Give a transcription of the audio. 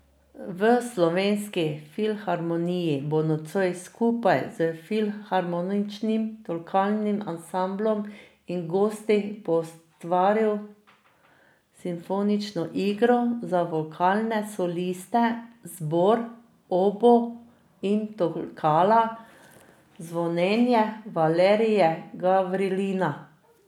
V Slovenski filharmoniji bo nocoj skupaj s Filharmoničnim tolkalnim ansamblom in gosti poustvaril simfonično igro za vokalne soliste, zbor, oboo in tolkala Zvonjenje Valerija Gavrilina.